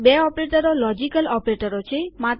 બે ઓપરેટરો લોજિકલ ઓપરેટરો છે